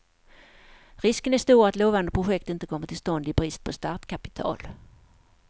Risken är stor att lovande projekt inte kommer till stånd i brist på startkapital.